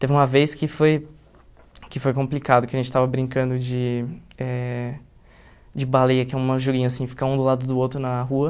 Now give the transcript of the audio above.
Teve uma vez que foi que foi complicado, que a gente estava brincando de eh de baleia, que é uma joguinho assim, ficar um do lado do outro na rua.